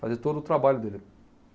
Fazer todo o trabalho dele.